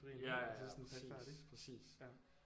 Ja ja ja præcis præcis